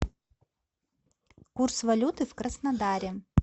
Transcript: курс валюты в краснодаре